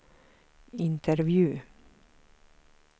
intervju